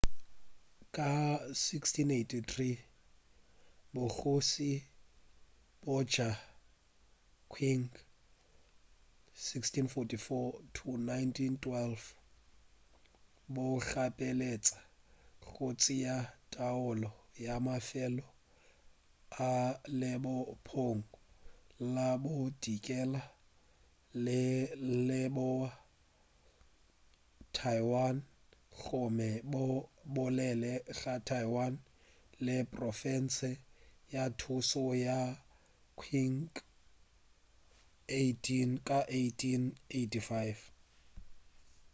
ka 1683 bogoši bja qing 1644-1912 bo gapeletša go tšea taolo ya mafelo a lebopong la bodikela le leboa a taiwan gomme bo bolele ga taiwan e le profense ya pušo ya qing ka 1885